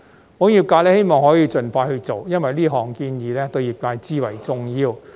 保險業界希望可以盡快去做，因為這項建議對業界至為重要。